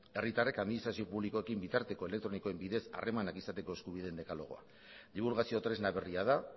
herritarrek administrazio publikoekin bitarteko elektronikoen bidez harremanak izateko eskubideen dekalogoa dibulgazio tresna berria da